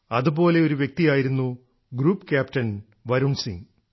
അതുപോലെ ഒരു വ്യക്തിയായിരുന്നു ഗ്രൂപ്പ് ക്യാപ്റ്റൻ വരുൺ സിംഗ്